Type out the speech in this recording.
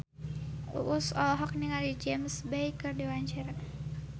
Uus olohok ningali James Bay keur diwawancara